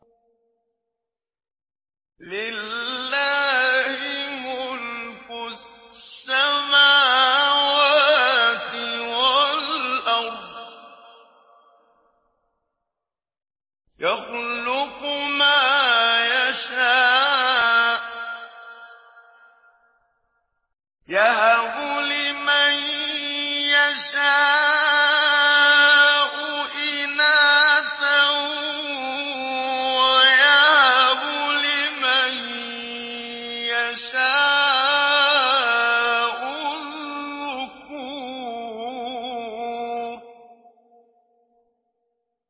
لِّلَّهِ مُلْكُ السَّمَاوَاتِ وَالْأَرْضِ ۚ يَخْلُقُ مَا يَشَاءُ ۚ يَهَبُ لِمَن يَشَاءُ إِنَاثًا وَيَهَبُ لِمَن يَشَاءُ الذُّكُورَ